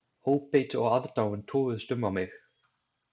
Óbeit og aðdáun toguðust á um mig.